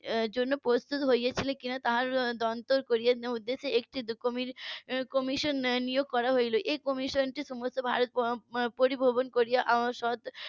জন্য প্রস্তুত হয়েছিল কিনা তার উদ্দেশে . একটি commission নিয়োগ করা হলো commission টি সমগ্র ভারত পরিদর্শন করে .